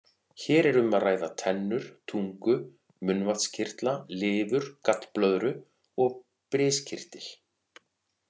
Hér er um að ræða tennur, tungu, munnvatnskirtla, lifur, gallblöðru og briskirtil.